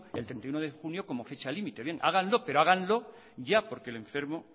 el treinta y uno de junio como fecha límite bien háganlo pero háganlo ya porque el enfermo